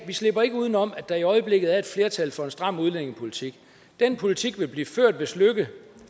vi slipper ikke udenom at der i øjeblikket er et flertal for en stram udlændingepolitik den politik vil blive ført hvis løkke